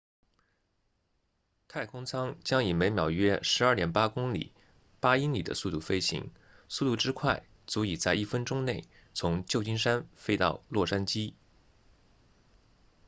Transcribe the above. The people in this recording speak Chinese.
太空舱将以每秒约 12.8 公里8英里的速度飞行速度之快足以在一分钟内从旧金山飞到洛杉矶